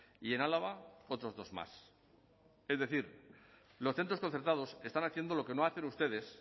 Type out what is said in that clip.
y en álava otros dos más es decir los centros concertados están haciendo lo que no hacen ustedes